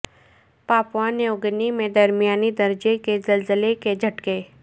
Papua New Guinea میں درمیانہ درجے کے زلزلہ کے جھٹکے